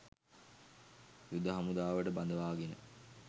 යුද හමුදාවට බඳවාගෙන